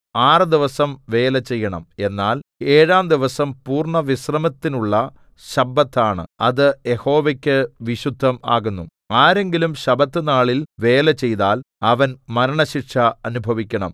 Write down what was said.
ആറ് ദിവസം വേല ചെയ്യണം എന്നാൽ ഏഴാം ദിവസം പൂർണ്ണവിശ്രമത്തിനുള്ള ശബ്ബത്താണ് അത് യഹോവയ്ക്കു വിശുദ്ധം ആകുന്നു ആരെങ്കിലും ശബ്ബത്ത് നാളിൽ വേല ചെയ്താൽ അവൻ മരണശിക്ഷ അനുഭവിക്കണം